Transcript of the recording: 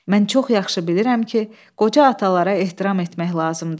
Mən çox yaxşı bilirəm ki, qoca atalara ehtiram etmək lazımdır.